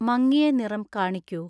മങ്ങിയ നിറം കാണിക്കൂ